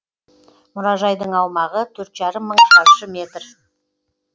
мұражайдың аумағы төрт жарым мың шаршы метр